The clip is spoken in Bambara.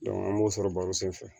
an b'o sɔrɔ baro sen fɛ